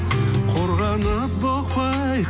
қорғанып бұқпай